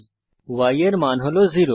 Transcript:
এখন y এর মান হল 0